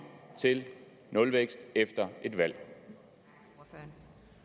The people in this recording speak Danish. til nulvækst efter et valg